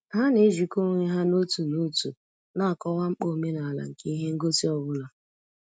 Ha na-ejikọ onwe ha n'otu n'otu na-akọwa mkpa omenala nke ihe ngosi ọ bụla.